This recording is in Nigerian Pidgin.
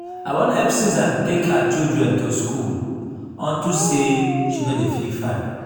i wan help susan take her children to school unto say she no dey feel fine